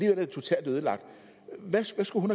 er det totalt ødelagt hvad skulle hun